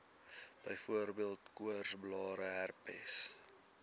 byvoorbeeld koorsblare herpes